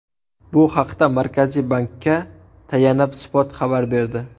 Bu haqda Markaziy bankka tayanib Spot xabar berdi .